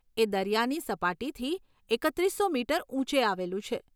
એ દરિયાની સપાટીથી એકત્રીસો મીટર ઊંચે આવેલું છે.